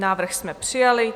Návrh jsme přijali.